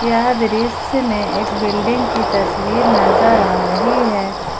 यह दृश्य में एक बिल्डिंग की तस्वीर नजर आ रही है।